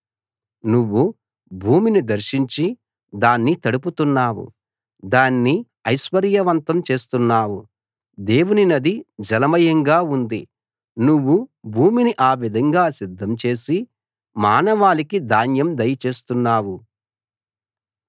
నువ్వు భూమిని దర్శించి దాన్ని తడుపుతున్నావు దాన్ని ఐశ్వర్యవంతం చేస్తున్నావు దేవుని నది జలమయంగా ఉంది నువ్వు భూమిని ఆ విధంగా సిద్ధం చేసి మానవాళికి ధాన్యం దయ చేస్తున్నావు